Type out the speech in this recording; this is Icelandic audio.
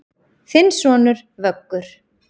Þinn sonur, Vöggur.